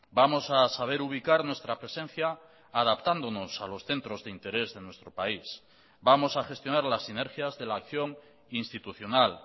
vamos a saber ubicar nuestra presencia adaptándonos a los centros de interés de nuestro país vamos a gestionar las sinergias de la acción institucional